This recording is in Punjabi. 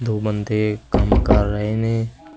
ਦੋ ਬੰਦੇ ਕੰਮ ਕਰ ਰਹੇ ਨੇ--